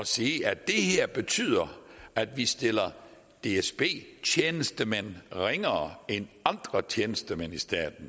sige at det her betyder at vi stiller dsb tjenestemænd ringere end andre tjenestemand i staten